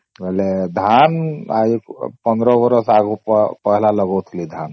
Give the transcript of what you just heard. ବୋଲେ ଧାନ ୧୫ ବରଷ ଆଗରୁ ପେହଲା ଲଗାଉଥିଲି ଧାନ